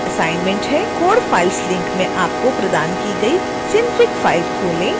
code files link में आपको प्रदान की गई synfig फ़ाइल खोलें